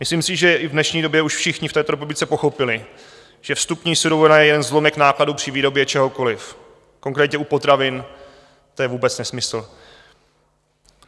Myslím si, že i v dnešní době už všichni v této republice pochopili, že vstupní surovina je jen zlomek nákladů při výrobě čehokoliv, konkrétně u potravin to je vůbec nesmysl.